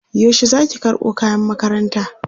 yaushe Zaki karɓo kayan makaranta?